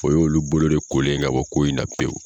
O y'olu bolo de kolen ye ka bɔ ko in na pewu.